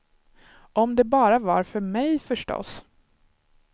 Om det bara var för mig, förstås.